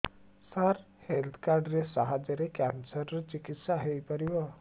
ସାର health card ସାହାଯ୍ୟରେ cancer ର ଚିକିତ୍ସା ହେଇପାରିବ